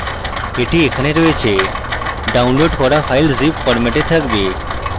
the এখানে রয়েছে download করা file zip ফরম্যাটে থাকবে